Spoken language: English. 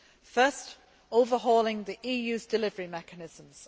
First, overhauling the EU's delivery mechanisms.